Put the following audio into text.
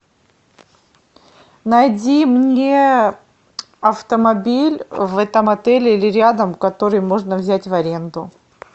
найди мне автомобиль в этом отеле или рядом который можно взять в аренду